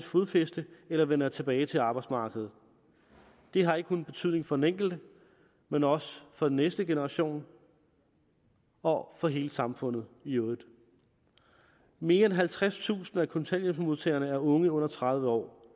fodfæste eller vender tilbage til arbejdsmarkedet det har ikke kun betydning for den enkelte men også for den næste generation og for hele samfundet i øvrigt mere end halvtredstusind af kontanthjælpsmodtagerne er unge under tredive år